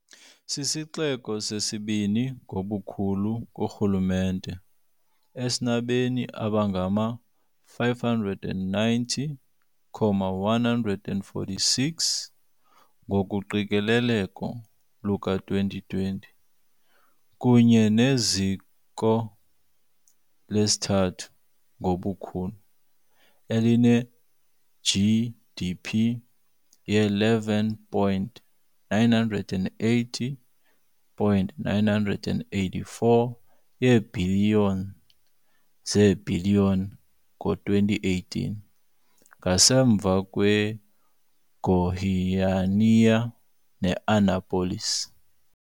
Sisixeko sesibini ngobukhulu kurhulumente, esinabemi abangama-590,146, ngokoqikelelo luka-2020, kunye neziko lesithathu ngobukhulu, eline-GDP ye-11.980.984 yeebhiliyoni zeebhiliyoni ngo-2018, ngasemva kweGoiânia ne-Anápolis.